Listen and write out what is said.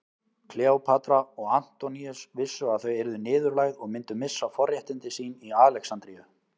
Kleópatra og Antoníus vissu að þau yrðu niðurlægð og myndu missa forréttindi sín í Alexandríu.